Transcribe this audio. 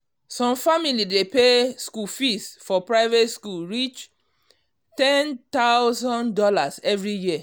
some family dey pay school fees for private school reach $10k every year